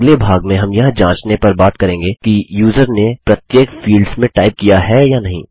अगले भाग में हम यह जांचने पर बात करेंगे कि यूज़र ने प्रत्येक फील्ड्स में टाइप किया है या नहीं